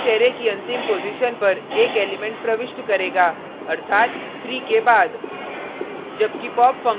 push function इस array की अंतिम पॉजिशन पर एक एलिमेंट प्रविष्ट करेगा अर्थात 3 के बाद